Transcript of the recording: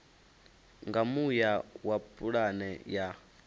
nga muya wa pulane ya